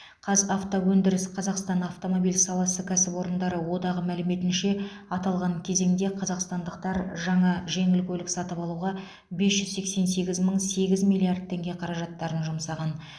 қазавтоөндіріс қазақстан автомобиль саласы кәсіпорындары одағы мәліметінше аталған кезеңде қазақстандықтар жаңа жеңіл көлік сатып алуға бес жүз сексен сегіз мың сегіз миллиард теңге қаражаттарын жұмсаған